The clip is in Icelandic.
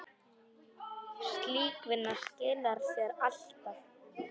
Slík vinna skilar sér alltaf.